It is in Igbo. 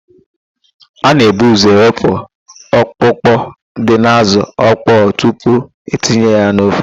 A na-ebu ụ́zọ̀ wepụ ọkpụkpụ dị n'ázụ̀ ọkpọọ tupu etinye ya n'ofe.